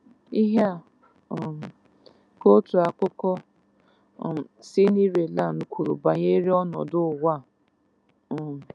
Ihe a um ka otu akụkọ um si Ireland kwuru banyere ọnọdụ ụwa. um